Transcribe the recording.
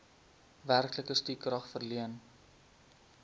werklike stukrag verleen